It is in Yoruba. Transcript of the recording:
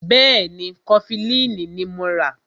Bẹ́ẹ̀ni, Kọfilínì ní mọ rà.